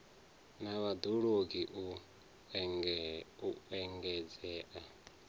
na vhad ologi u engedzea